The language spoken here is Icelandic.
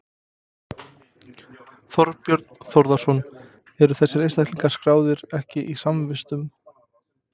Þorbjörn Þórðarson: Eru þessir einstaklingar skráðir ekki í samvistum?